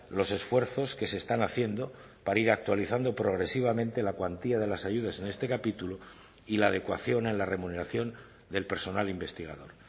los esfuerzos que se están haciendo para ir actualizando progresivamente la cuantía de las ayudas en este capítulo y la adecuación en la remuneración del personal investigador